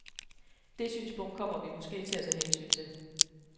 Det synspunkt kommer vi måske til at tage hensyn til.